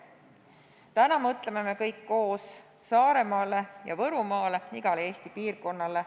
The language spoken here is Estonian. Täna mõtleme kõik koos Saaremaale ja Võrumaale, igale Eesti piirkonnale.